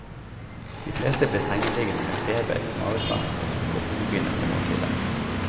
De fleste ble sengeliggende med feber, mavesmerter og hodepine etter måltidet.